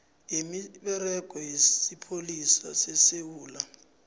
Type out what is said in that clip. yemisebenzi yesipholisa sesewula